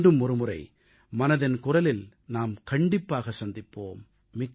மீண்டும் ஒரு முறை மனதின் குரலில் நாம் கண்டிப்பாக சந்திப்போம்